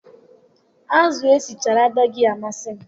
Azụ esichara adịghị amasị m.